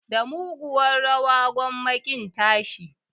Da mugunyar rawa gwamma ƙin tashi